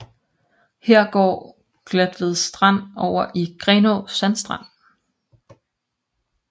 Her går Glatved Strand over i Grenaa Sandstrand